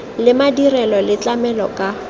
le madirelo le tlamela ka